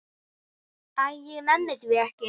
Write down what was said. Æ, ég nenni því ekki.